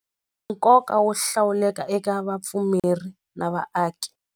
Nkoka wo hlawuleka eka vapfumeri na vaaki.